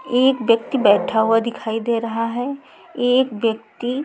एक व्यक्ति बैठा हुआ दिखाई दे रहा है एक व्यक्ति--